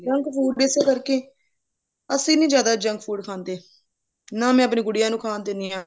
junk food ਇਸੇ ਕਰਕੇ ਅਸੀਂ ਨੀ ਜਿਆਦਾ junk food ਖਾਂਦੇ ਨਾ ਮੈਂ ਆਪਣੀ ਗੁਡੀਆਂ ਨੂੰ ਖਾਨ ਦਿੰਦੀ ਹਾਂ